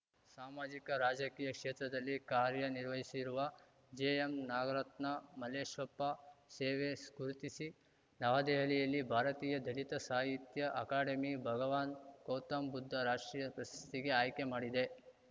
ಸಾಮಾಜಿಕ ರಾಜಕೀಯ ಕ್ಷೇತ್ರದಲ್ಲಿ ಕಾರ್ಯನಿರ್ವಹಿಸಿರುವ ಜೆಎಂನಾಗರತ್ನ ಮಲ್ಲೇಶಪ್ಪ ಸೇವೆ ಗುರುತಿಸಿ ನವದೆಹಲಿಯಲ್ಲಿ ಭಾರತೀಯ ದಲಿತ ಸಾಹಿತ್ಯ ಅಕಾಡೆಮಿ ಭಗವಾನ್‌ ಗೌತಮ ಬುದ್ಧ ರಾಷ್ಟ್ರೀಯ ಪ್ರಶಸ್ತಿಗೆ ಆಯ್ಕೆ ಮಾಡಿದೆ